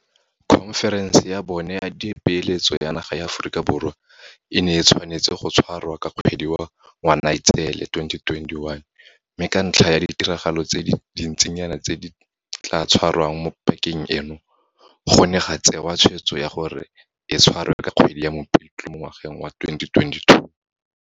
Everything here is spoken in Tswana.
Khonferense ya bone ya Dipeeletso ya naga ya Aforika Borwa e ne e tshwanetse go tshwarwa ka kgwedi ya Ngwanaitseele 2021, mme ka ntlha ya ditiragalo tse dintsinyana tse di tla tshwarwang mo pakeng eno, go ne ga tsewa tshweetso ya gore e tshwarwe ka kgwedi ya Mopitlwe mo ngwageng wa 2022.